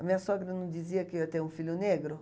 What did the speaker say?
A minha sogra não dizia que eu ia ter um filho negro?